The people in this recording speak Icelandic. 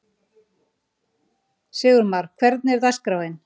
Sigurmar, hvernig er dagskráin?